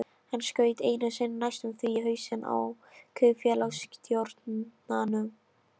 Hann skaut einu sinni næstum því í hausinn á kaupfélagsstjóranum.